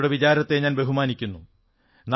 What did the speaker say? കുട്ടിയുടെ വിചാരത്തെ ഞാൻ ബഹുമാനിക്കുന്നു